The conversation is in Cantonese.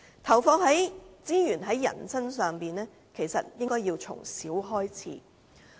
投放資源在人身上，其實應從小開始。